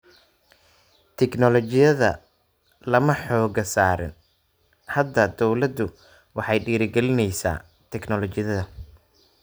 Tignoolajiyada lama xooga saarin. Hadda dawladdu waxay dhiirigelinaysaa tignoolajiyada.